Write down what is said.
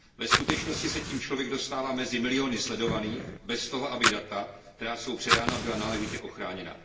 Ve skutečnosti se tím člověk dostává mezi miliony sledovaných bez toho, aby data, která jsou předána, byla náležitě ochráněna.